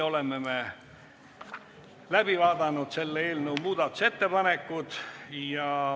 Oleme läbi vaadanud selle eelnõu muudatusettepanekud.